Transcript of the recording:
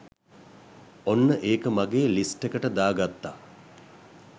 ඔන්න ඒක මගේ ලිස්ට් එකට දාගත්ත